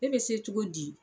E be se cogo di